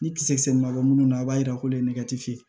Ni kisɛ ma bɔ munnu na a b'a yira k'olu ye nɛgɛ te ye